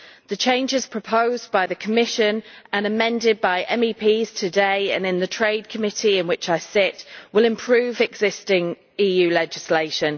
The changes proposed by the Commission and amended by MEPs today and in the Trade Committee in which I sit will improve existing EU legislation.